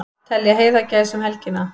Telja heiðagæs um helgina